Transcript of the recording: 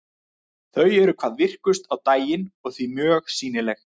Þau eru hvað virkust á daginn og því mjög sýnileg.